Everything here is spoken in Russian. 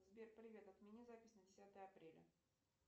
сбер привет отмени запись на десятое апреля